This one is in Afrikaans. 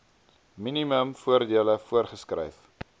minimum voordele voorgeskryf